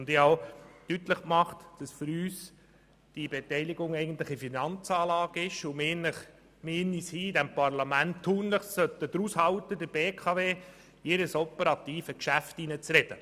Ich habe auch deutlich gemacht, dass diese Beteiligung für uns eigentlich eine Finanzanlage ist und wir in diesem Parlament es tunlichst vermeiden sollten, der BKW in das operative Geschäft hineinzureden.